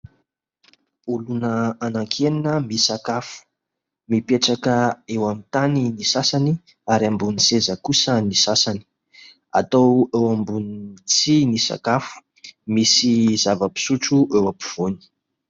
Olona anankienina misakafo, mipetraka eo amin'ny tany ny sasany ary ambony seza kosa ny sasany. Atao eo ambony tsihy ny sakafo. Misy zava-pisotro eo ampovoany.